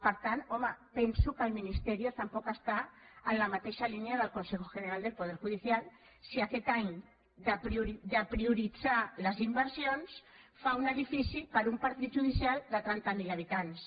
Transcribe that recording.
per tant home penso que el ministerioteixa línia del consejo general del poder judicial si aquest any de prioritzar les inversions fa un edifici per a un partit judicial de trenta mil habitants